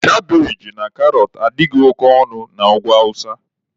Kabeji na karọt adịghị oke ọnụ na Ugwu awụsa.